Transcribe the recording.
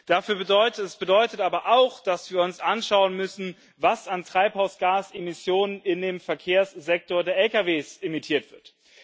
Das bedeutet aber auch, dass wir uns anschauen müssen, was an Treibhausgasemissionen in dem Verkehrssektor der Lkw emittiert wird.